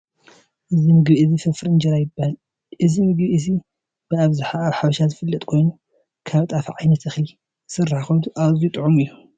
እዚ ምግቢ እዚ ፍርፍር እንጀራ ይባሃል። እዚ ምግቢ እዚ ብኣብዝሓ ኣብ ሓበሻ ዝፍለጥ ኮይኑ ካብ ጣፍ ዓይነት እክሊ ዝስራሕ ኮይኑ ኣዝዩ ጥዕሙ እዩ።